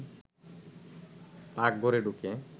পাকঘরে ঢুকে